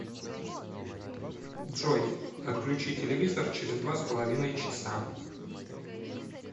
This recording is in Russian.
джой отключи телевизор через два с половиной часа